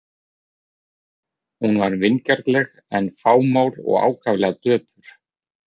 Hún var vingjarnleg en fámál og ákaflega döpur.